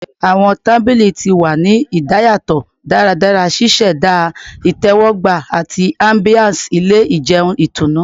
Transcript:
Awọn tabili ti wa ni idayatọ daradara, ṣiṣẹda itẹwọgba ati ambiance ile ijeun itunu